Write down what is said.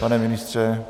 Pane ministře?